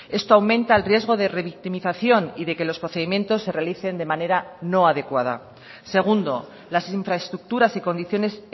esto aumenta el riesgo de revictimización y de que los procedimientos se realicen de manera no adecuada segundo las infraestructuras y condiciones